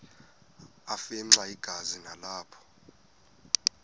afimxa igazi nalapho